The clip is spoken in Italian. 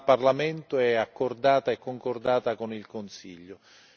dal Parlamento e accordata e concordata con il Consiglio.